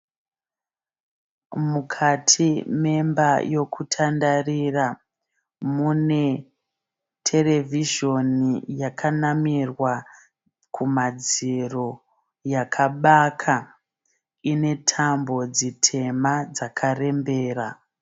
Mukati memba yokutandarira. Mune terevhizhoni yakanamirwa kumadziro yakabaka. Ine tambo dzitema dzakarembera.